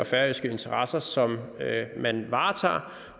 færøske interesser som man varetager